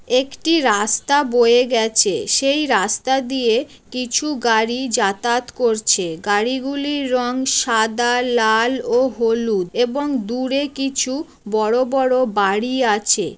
একটি রাস্তা বয়ে গেছে সেই রাস্তা দিয়ে কিছু গাড়ি যাতায়াত করছে গাড়িগুলি রং সাদা লাল ও হলুদ এবং দূরে কিছু বড় বড় বাড়ি আছে।